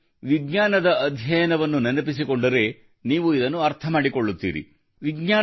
ನೀವು ವಿಜ್ಞಾನದ ಅಧ್ಯಯನವನ್ನು ನೆನಪಿಸಿಕೊಂಡರೆ ನೀವು ಇದನ್ನು ಅರ್ಥಮಾಡಿಕೊಳ್ಳುತ್ತೀರಿ